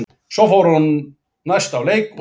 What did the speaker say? Svo fór hún næst á leik og sá fjögur mörk.